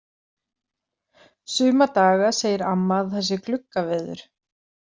Suma daga segir amma að það sé gluggaveður.